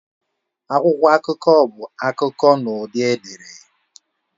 Akwụkwọ akụkọ bụ akụkọ n'ụdị ederede.